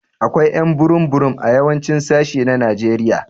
Akwai ƴ'an burum burum a yawancin sashi na Najeriya.